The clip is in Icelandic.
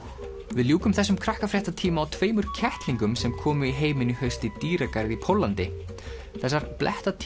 við ljúkum þessum á tveimur kettlingum sem komu í heiminn í haust í dýragarði í Póllandi þessar